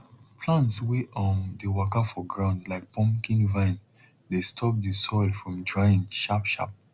plants wey um dey waka for ground like pumpkin vine dey stop the soil from drying sharp sharp